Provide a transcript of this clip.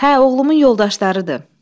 Hə, oğlumun yoldaşlarıdır.